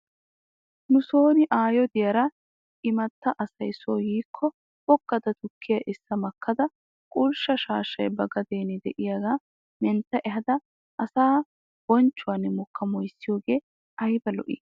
Nuson aayo diyaara imatta asay soo yiikko boggada tukkiyaa essa makkada qulshsha shaashshay ba gaden de'iyaagaa mentta ehaada asaa bonchchuwan mokka moyssiyoogee ayba lo'ii?